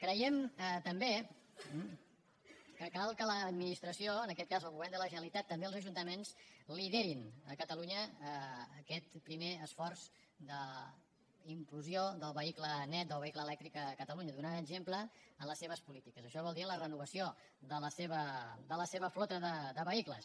creiem també que cal que l’administració en aquest cas el govern de la generalitat també els ajuntaments lideri a catalunya aquest primer esforç d’implosió del vehicle net del vehicle elèctric a catalunya i en doni exemple en les seves polítiques això vol dir en la renovació de la seva flota de vehicles